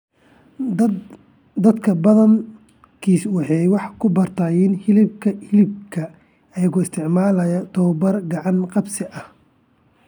Dadka badankiis waxay wax ku bartaan hilibka hilibka iyagoo isticmaalaya tabobar gacan-qabsi ah.